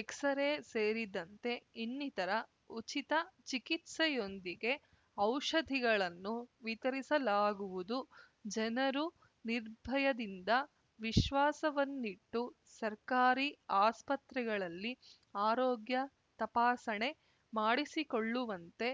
x ray ಸೇರಿದಂತೆ ಇನ್ನಿತರ ಉಚಿತ ಚಿಕಿತ್ಸೆಯೊಂದಿಗೆ ಔಷಧಿಗಳನ್ನು ವಿತರಿಸಲಾ ಗುವುದು ಜನರು ನಿರ್ಭಯದಿಂದ ವಿಶ್ವಾಸವನ್ನಿಟ್ಟು ಸರ್ಕಾರಿ ಆಸ್ಪತ್ರೆಗಳಲ್ಲಿ ಆರೋಗ್ಯ ತಪಾಸಣೆ ಮಾಡಿಸಿಕೊಳ್ಳುವಂತೆ